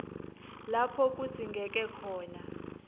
lapho kudzingeke khona